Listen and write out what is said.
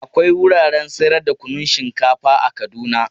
Akwai wuraren sayar da kunun shinkafa a Kaduna.